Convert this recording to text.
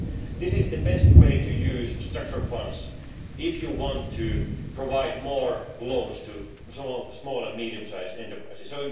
This is the best way to use structural funds if you want to provide more loans to small and medium sized enterprises.